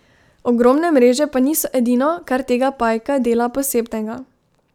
Ogromne mreže pa niso edino, kar tega pajka dela posebnega.